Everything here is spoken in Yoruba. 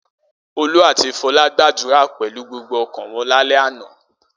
Olú àti Fọlá gbàdúrà pẹ̀lú gbogbo ọkàn wọn lálẹ́ àná.